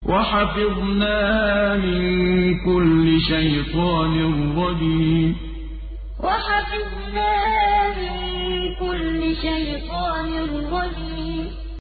وَحَفِظْنَاهَا مِن كُلِّ شَيْطَانٍ رَّجِيمٍ وَحَفِظْنَاهَا مِن كُلِّ شَيْطَانٍ رَّجِيمٍ